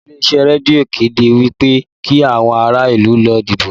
Àwọn ilé-iṣẹ́ rédíò kéde wí pé kí àwọn ará ìlú lọ dìbò